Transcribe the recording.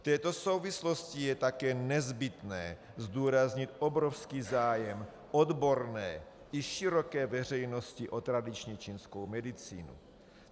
V této souvislosti je také nezbytné zdůraznit obrovský zájem odborné i široké veřejnosti o tradiční čínskou medicínu.